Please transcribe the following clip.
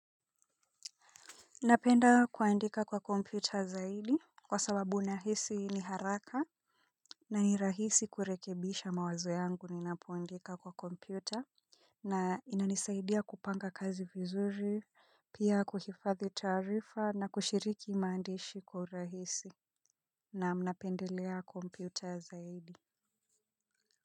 Napenda kuandika kwa kompyuta zaidi, kwa sababu nahisi ni haraka, na ni rahisi kurekebisha mawazo yangu ninapoandika kwa kompyuta. Na inanisaidia kupanga kazi vizuri pia kuhifadhi taarifa na kushiriki maandishi kwa urahisi. Naam, napendelea kompyuta zaidi.